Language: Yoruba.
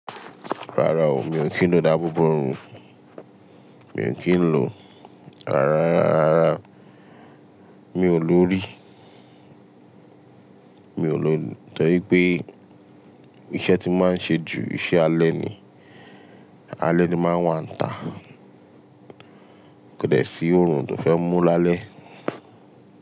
Rárá o, mi ò kí ń lo dáàbò bo òrùn, mi ò kí ń lo, àrá rárá, mi ò lórí, mi ò lọ tọ́ pé iṣẹ́ tí máa ń ṣe ju iṣẹ́ alẹ́ ni, alẹ́ ni máa ń wà ntà kẹ̀dẹ̀ sí òrùn tó fẹ́ mú lálẹ́